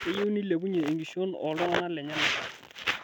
Keyieu nilepunye enkishon oo ltung'ana lenyenak